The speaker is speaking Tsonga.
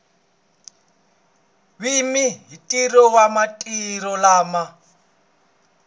wihi ntirho wa marito lama